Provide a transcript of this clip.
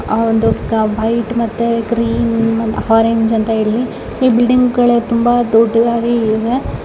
ಆಹ್ಹ್ ಒಂದು ವೈಟ್ ಮತ್ತೆ cream orange ಅಂತ ಈ ಬಿಲ್ಡಿಂಗ್ ಗಳು ತುಂಬಾ ದೊಡ್ಡದಾಗಿ ಇವೆ.